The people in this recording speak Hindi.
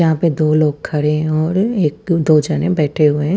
वहा पर दो लोग खड़े है और एक पर दो जने बैठे हुए ह--